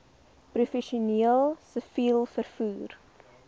professioneel siviel vervoer